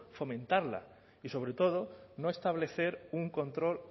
fomentarla y sobre todo no establecer un control